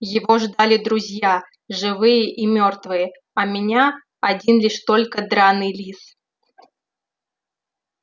его ждали друзья живые и мёртвые а меня один лишь только драный лис